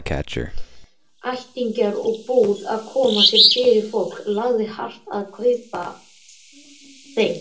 Ættingjar og búið-að-koma-sér-fyrir-fólk lagði hart að þeim að kaupa.